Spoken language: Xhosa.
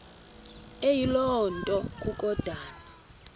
eyiloo nto kukodana